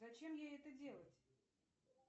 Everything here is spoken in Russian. зачем ей это делать